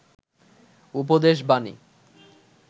উপদেশ বানী